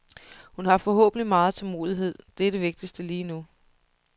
Hun har forhåbentlig megen tålmodighed, det er det vigtigtste lige nu.